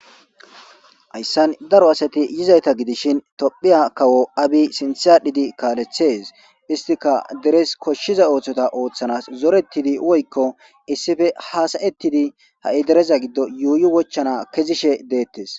Hayssan daro asati yizayta gidishin tophiya kawo abi sinthadhidi kaalethees istika deres koshshiza ooththota ooththanas zorettidi woykko issippe haasayettidi ha7i dereza giddo yuuyi wochchana kezishe deettes.